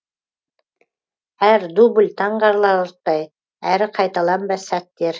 әр дубль таңқаларлықтай әрі қайталанбас сәттер